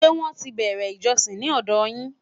ṣé wón tí bere ìjósìn ní òdò yín?